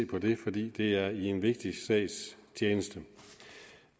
på det fordi det er i en vigtig sags tjeneste